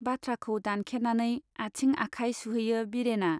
बाथ्राखौ दानखेनानै आथिं आखाय सुहैयो बिरेना